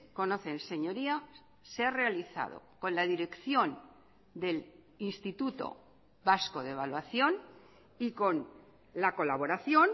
conocen señorías se ha realizado con la dirección del instituto vasco de evaluación y con la colaboración